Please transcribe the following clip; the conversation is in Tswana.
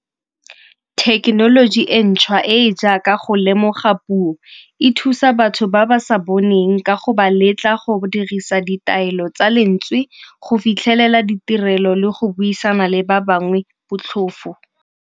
Thekenoloji e ntšhwa e e jaaka go lemoga puo e thusa batho ba ba sa boneng ka go ba letla go dirisa ditaelo tsa lentswe, go fitlhelela ditirelo le go buisana le ba bangwe botlhofo.